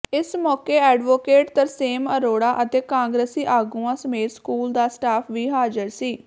ਇਸ ਮੌਕੇ ਐਡਵੋਕੇਟ ਤਰਸੇਮ ਅਰੋੜਾ ਅਤੇ ਕਾਂਗਰਸੀ ਆਗੂਆਂ ਸਮੇਤ ਸਕੂਲ ਦਾ ਸਟਾਫ ਵੀ ਹਾਜ਼ਰ ਸੀ